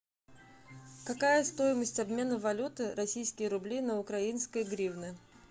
какая стоимость обмена валюты российские рубли на украинские гривны